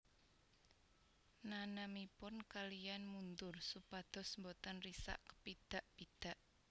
Nanemipun kaliyan mundur supados boten risak kepidak pidak